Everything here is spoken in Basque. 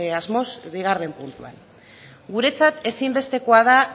asmoz bigarren puntuan guretzat ezinbestekoa da